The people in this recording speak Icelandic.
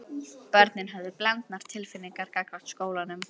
Börnin höfðu blendnar tilfinningar gagnvart skólanum.